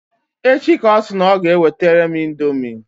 Echi ka ọ sị na ọ ga-ewetere m indomi.